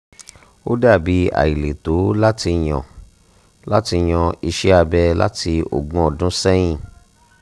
o dabi aileto lati yan lati yan iṣẹ abẹ lati ogun ọdun sẹyin